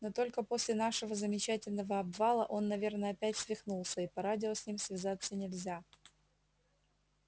но только после нашего замечательного обвала он наверно опять свихнулся и по радио с ним связаться нельзя